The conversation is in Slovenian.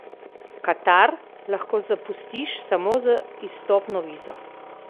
Katar lahko zapustiš samo z izstopno vizo ...